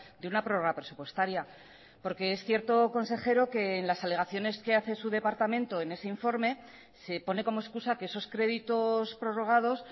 de una prórroga presupuestaria porque es cierto consejero que en las alegaciones que hace su departamento en ese informe se pone como excusa que esos créditos prorrogados